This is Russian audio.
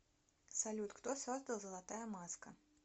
салют кто создал золотая маска